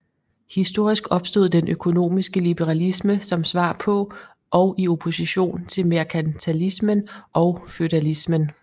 Historisk opstod den økonomiske liberalisme som svar på og i opposition til merkantilismen og feudalismen